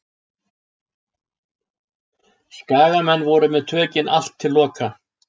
Skagamenn voru með tökin allt til loka.